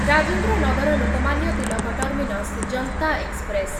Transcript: Rajendra Nagar Lokmanya Tilak terminus ଯନ୍ତା express